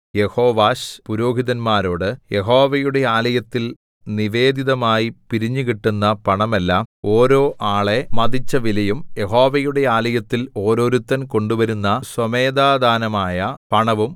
യെഹോവാശ് പുരോഹിതന്മാരോട് യഹോവയുടെ ആലയത്തിൽ നിവേദിതമായി പിരിഞ്ഞുകിട്ടുന്ന പണമെല്ലാം ഓരോ ആളെ മതിച്ച വിലയും യഹോവയുടെ ആലയത്തിൽ ഓരോരുത്തൻ കൊണ്ടുവരുന്ന സ്വമേധാദാനമായ പണവും